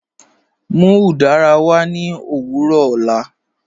Mú udara wà ní ọ̀wọ̀rọ̀ ọ̀lá.